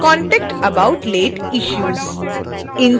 contact about late issues